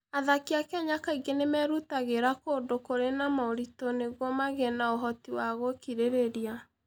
Athaki a Kenya kaingĩ nĩ merutagĩra kũndũ kũrĩ na moritũ nĩguo magĩe na ũhoti wa gũkirĩrĩria.